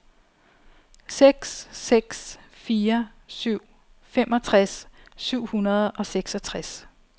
seks seks fire syv femogtres syv hundrede og seksogtres